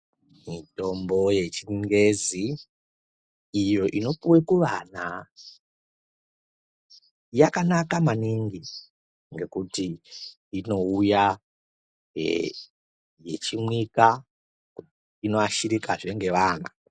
Mitombo yechingezi iyo inopuwe kuvana yakanaka maningi ngekuti inouya ichimwika inoashirikazve nevanhu.